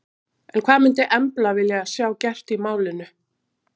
En hvað myndi Embla vilja sjá gert í málinu?